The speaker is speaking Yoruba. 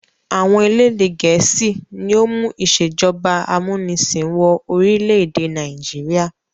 Àwọn elédè Gẹ̀ẹ́sì ni ó mú ìṣèjọba amúnisìn wọ orílẹ̀ èdè Nàìjíríà